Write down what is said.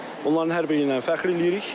Onların hər biri ilə fəxr eləyirik.